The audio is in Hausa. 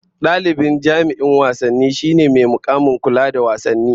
Dalibi jami'in wasanni shine mai mukamin kula da wasanni